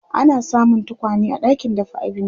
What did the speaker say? ana samun tokwane a ɗakin dafa abinci